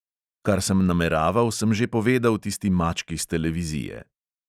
Kar sem nameraval, sem že povedal tisti mački s televizije.